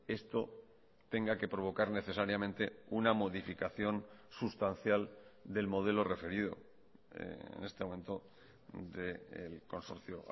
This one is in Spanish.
esto tenga que provocar necesariamente una modificación sustancial del modelo referido en este momento del consorcio